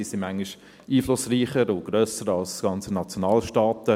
Manchmal sind sie einflussreicher und grösser als ganze Nationalstaaten.